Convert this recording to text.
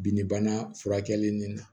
Bin bana furakɛli nin na